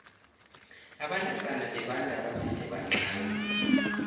abantazana bebenda basesebancani